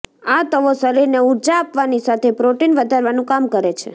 આ ત્તવો શરીરને ઉર્જા આપવાની સાથે પ્રોટીન વધારવાનું કામ કરે છે